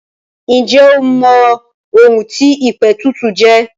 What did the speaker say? Ǹjẹ́ o mọ ohun tí ìpètùtù jẹ́?